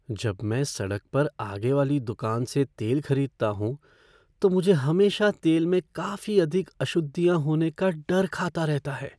जब मैं सड़क पर आगे वाली दुकान से तेल खरीदता हूँ तो मुझे हमेशा तेल में काफी अधिक अशुद्धियाँ होने का डर खाता रहता है।